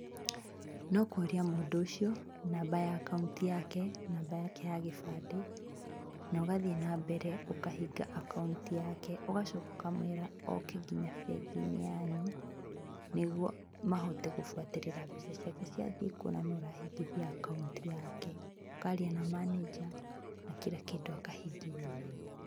Nokũria mũndũ ũcio namba ya akaũnti yake, namba yake ya gĩbandĩ, na ũgathiĩ na mbere ũkahinga akaũnti yake ũgacoka ũkamwĩra oke nginya bengi-inĩ yanyu nĩguo mahote gũbuatĩrĩra mbeca ciake ciathiĩ kũ na nũ ũrahingithia akaũnti yake, ũkaria na manager na kira kĩndũ akahingĩrio wega.